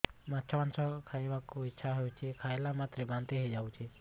ମାଛ ମାଂସ ଖାଇ ବାକୁ ଇଚ୍ଛା ହଉଛି ଖାଇଲା ମାତ୍ରକେ ବାନ୍ତି ହେଇଯାଉଛି